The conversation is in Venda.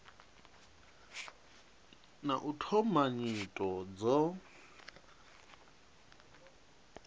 na u thoma nyito dzo